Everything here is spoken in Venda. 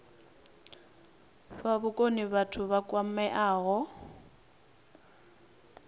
fha vhukoni vhathu vha kwameaho